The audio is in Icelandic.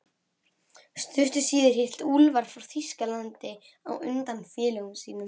Stuttu síðar hélt Úlfar frá Þýskalandi á undan félögum sínum.